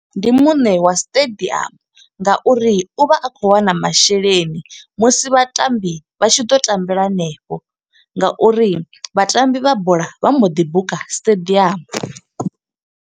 Ndi muṋe wa stadium nga uri u vha a khou wana masheleni, musi vhatambi vha tshi ḓo tambela hanefho. Nga uri vhatambi vha bola vha mbo ḓi buka stadium.